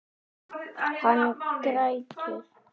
Hann grætur.